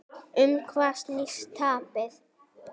Um hvað snýst tapið?